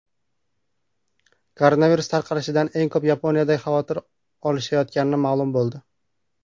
Koronavirus tarqalishidan eng ko‘p Yaponiyada xavotir olishayotgani ma’lum bo‘ldi.